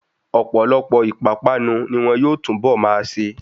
Ọ̀pọ̀lọpọ̀ ìpápánu ni wọn yóò túnbọ̀ máa ṣe.